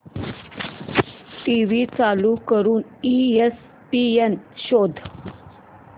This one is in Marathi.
टीव्ही चालू करून ईएसपीएन शोध